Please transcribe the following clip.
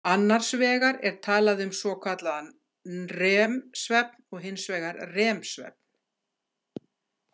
Annars vegar er talað um svokallaðan NREM-svefn og hins vegar REM-svefn.